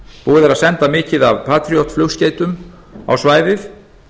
og er verið að senda mikið af patriot flugskeytum á svæðið